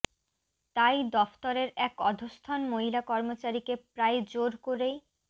তাই দফতরের এক অধস্তন মহিলা কর্মচারীকে প্রায় জোর করেই